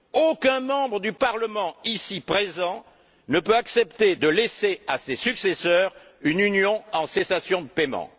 Aucun membre de ce Parlement ici présent ne peut accepter de laisser à ses successeurs une Union en cessation de paiement.